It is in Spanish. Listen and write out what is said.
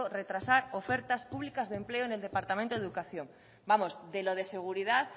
retrasar ofertas públicas de empleo en el departamento de educación vamos de lo de seguridad